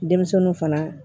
Denmisɛnninw fana